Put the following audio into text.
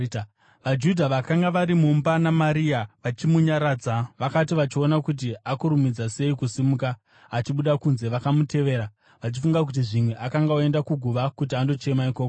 VaJudha vakanga vari mumba naMaria, vachimunyaradza, vakati vachiona kuti akurumidza sei kusimuka achibuda kunze, vakamutevera, vachifunga kuti zvimwe akanga oenda kuguva kuti andochema ikoko.